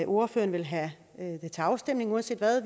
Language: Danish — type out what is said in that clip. ordføreren vil have det til afstemning uanset hvad